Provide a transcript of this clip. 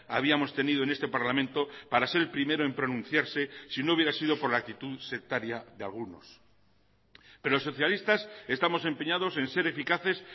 habíamos tenido en este parlamento para ser el primero en pronunciarse si no hubiera sido por la actitud sectaria de algunos pero los socialistas estamos empeñados en ser eficaces